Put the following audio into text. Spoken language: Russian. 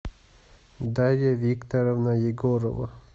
дарья викторовна егорова